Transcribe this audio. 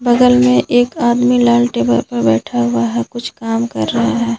बगल में एक आदमी लाल टेबल पर बैठा हुआ है कुछ काम कर रहा है।